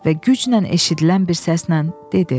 Və güclə eşidilən bir səslə dedi: